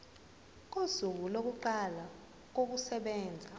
kosuku lokuqala kokusebenza